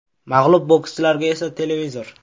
Mag‘lub bokschilarga esa televizor.